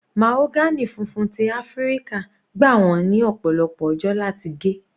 Mahagony funfun ti Áfíríkà gbà wọ́n ní ọ̀pọ̀lọpọ̀ ọjọ́ láti gé.